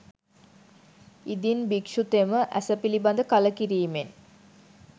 ඉදින් භික්‍ෂුතෙම ඇස පිළිබඳ කලකිරීමෙන්